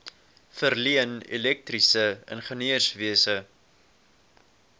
verleen elektriese ingenieurswese